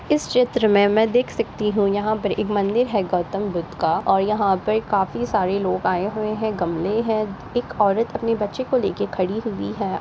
इस चित्र में मैं देख सकती हूँ यहाँ पर एक मंदिर है गौतम बुद्ध का और यहाँ पर काफी सारे लोग आये हुए हैं। गमले हैं। एक औरत अपने बच्चे को लेके खड़ी हुई है।